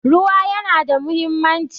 Ruwa ya na da muhimmanci